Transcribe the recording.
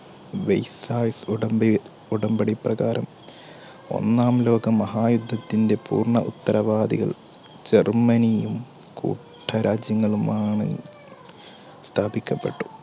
വേഴ്സായി ഉടമ്പടി പ്രകാരം ഒന്നാം ലോകമഹായുദ്ധത്തിന്റെ പൂർണ്ണ ഉത്തരവാദികൾ ജർമ്മനിയും കൂട്ടരാജ്യങ്ങളുമാണെന്ന് സ്ഥാപിക്കപ്പെട്ടു.